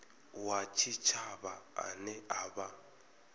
wa tshitshavha ane a vha